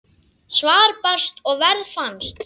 Svar barst og verð fannst.